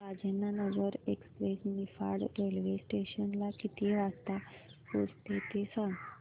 Rajendranagar express Niphad railway station ला किती वाजता पोहचते ते सांग